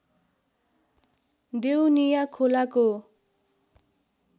देउनिया खोलाको